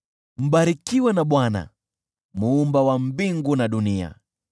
Mbarikiwe na Bwana Muumba wa mbingu na dunia.